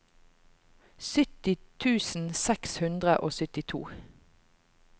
sytti tusen seks hundre og syttito